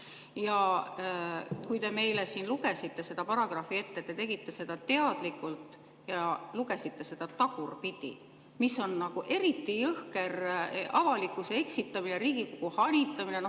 Ja kui te meile siin lugesite seda paragrahvi ette, te teadlikult lugesite seda tagurpidi, mis on nagu eriti jõhker avalikkuse eksitamine ja Riigikogu hanitamine.